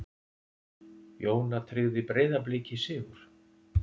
Jóna tryggði Breiðabliki sigur